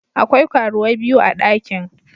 Akwai karuwai biyu a dakin.